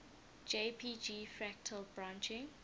jpg fractal branching